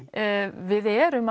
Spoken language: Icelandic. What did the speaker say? við erum